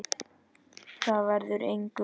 Þar verður engu breytt.